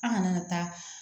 An kana taa